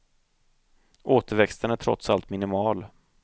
Återväxten är trots allt minimal.